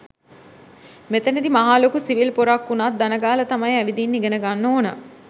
මෙතනදි මහා ලොකු සිවිල් පොරක් උනත් දනගාල තමයි ඇවිදින්න ඉගනගන්න ඕන.